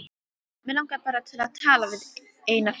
Mig langar bara til að tala við þig eina fyrst.